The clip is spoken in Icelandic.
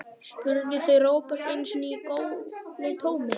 spurðu þau Róbert einu sinni í góðu tómi.